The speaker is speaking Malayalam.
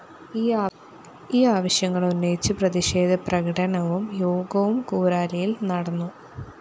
ഈ ആവശ്യങ്ങള്‍ ഉന്നയിച്ചു പ്രതിഷേധ പ്രകടനവും യോഗവും കൂരാലിയില്‍ നടന്നു